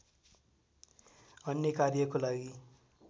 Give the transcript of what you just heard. अन्य कार्यको लागि